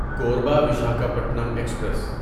Korba Visakhapatnam express